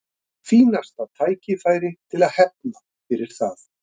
Fínasta tækifæri til þess að hefna fyrir það.